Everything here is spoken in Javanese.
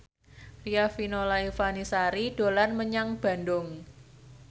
Riafinola Ifani Sari dolan menyang Bandung